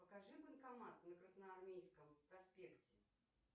покажи банкомат на красноармейском проспекте